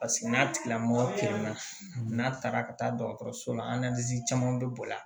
Paseke n'a tigilamɔgɔ kelen na n'a taara ka taa dɔgɔtɔrɔso la caman be bɔ yan